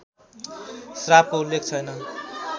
श्रापको उल्लेख छैन